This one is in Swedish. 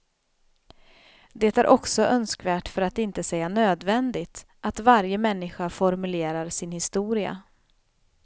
Det är också önskvärt för att inte säga nödvändigt att varje människa formulerar sin historia.